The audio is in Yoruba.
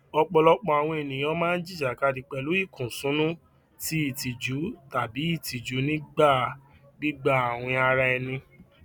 ọpọlọpọ àwọn ènìyàn máa ń jìjàkadì pẹlú ìkúnṣùnú ti ìtìjú tàbí ìtìjú nígbà gbígbà àwìn ara ẹni